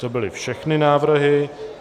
To byly všechny návrhy.